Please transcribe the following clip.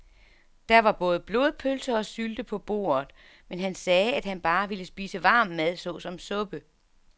Der var både blodpølse og sylte på bordet, men han sagde, at han bare ville spise varm mad såsom suppe.